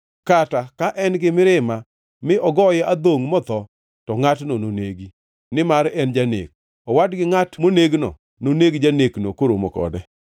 kata ka en gi mirima mi ogoye adhongʼ motho, to ngʼatno nonegi; nimar en janek. Owad gi ngʼat monegno noneg janekno koromo kode.